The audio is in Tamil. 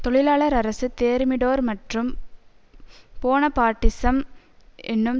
தொழிலாளர் அரசு தேர்மிடோர் மற்றும் போனபார்ட்டிசம் என்னும்